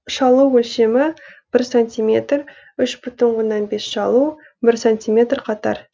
шалу өлшемі бір сантиметр үш бүтін оннан бес шалу сантиметр қатар